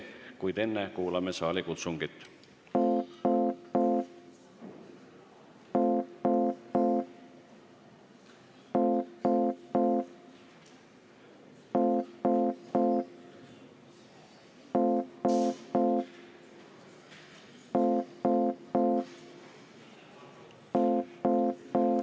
Kuid enne kuulame saali kutsungit.